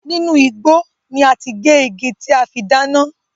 Inú igbó ni a ti gé igi tí a fi dáná.